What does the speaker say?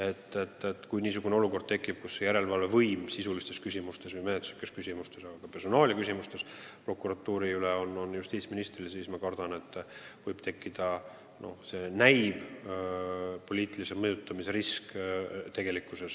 Kui tekib olukord, kus justiitsministril on õigus teha prokuratuuri üle järelevalvet sisulistes või menetluslikes küsimustes, aga ka personaalia küsimustes, siis ma kardan, et seni vaid näiv poliitilise mõjutamise risk tekiks ka tegelikkuses.